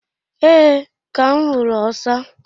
Ee, Ka m huru osa.